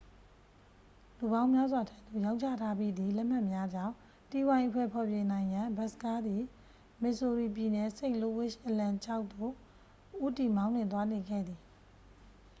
လူပေါင်းများစွာထံသု့ိ ရောင်းချထားပြီးသည့် လက်မှတ်များကြောင့် တီးဝိုင်းအဖွဲ့ ဖျော်ဖြေနိုင်ရန် ဘတ်စကားသည် မစ်ဆိုရီပြည်နယ် စိန့်လူးဝစ် အလံ ခြေက် သို့ ဦးတည်မောင်းနှင်သွားနေခဲ့သည်